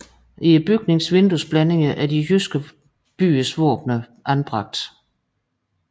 I bygningens vinduesblændinger er de jyske byers våbener anbragte